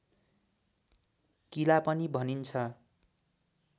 किला पनि भनिन्छ